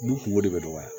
U kungo de bɛ dɔgɔya